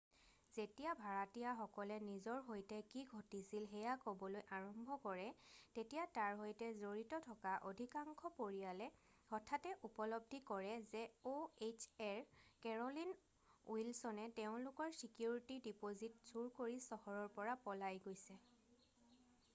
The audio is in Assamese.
যেতিয়া ভাড়াতীয়াসকলে নিজৰ সৈতে কি ঘটিছিল সেয়া ক'বলৈ আৰম্ভ কৰে তেতিয়া তাৰ সৈতে জড়িত থকা অধিকাংশ পৰিয়ালে হঠাতে উপলব্ধি কৰে যে ohaৰ কেৰ'লিন উইলছনে তেওঁলোকৰ ছিকিউৰিটি ডিপ'জিট চুৰি কৰি চহৰৰ পৰা পলাই গৈছে।